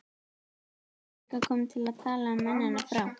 Ég rétti úr mér, hingað komin til að tala um mennina frá